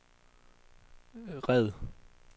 red